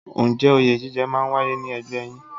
Ǹjẹ́ òye jíjẹ máa ń wáyé ní ẹgbẹ́ yín?